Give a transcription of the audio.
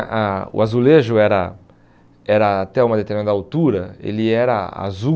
a a o azulejo era, era até uma determinada altura, ele era azul.